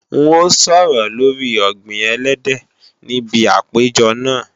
N ó sọ̀rọ̀ lóri ọ̀gbìn ẹlẹ́dẹ̀ níbi àpèjọ náà